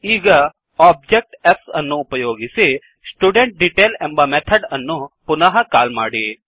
ಈಗ object s ಅನ್ನು ಉಪಯೋಗಿಸಿ studentDetail ಎಂಬ ಮೆಥಡ್ ಅನ್ನು ಪುನಃ ಕಾಲ್ ಮಾಡಿ